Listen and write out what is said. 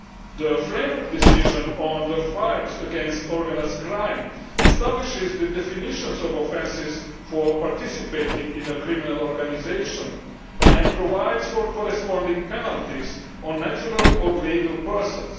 The Framework Decision on the fight against organised crime establishes the definitions of offences for participating in a criminal organisation and provides for corresponding penalties on natural or legal persons.